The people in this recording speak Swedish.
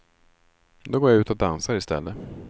Då går jag ut och dansar istället.